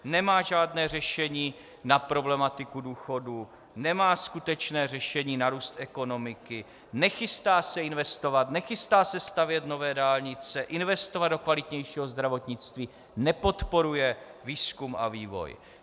Nemá žádné řešení na problematiku důchodů, nemá skutečné řešení na růst ekonomiky, nechystá se investovat, nechystá se stavět nové dálnice, investovat do kvalitnějšího zdravotnictví, nepodporuje výzkum a vývoj.